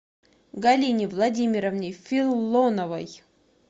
галине владимировне филоновой